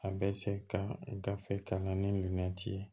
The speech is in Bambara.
A bɛ se ka gafe kalan ni minɛn ti ye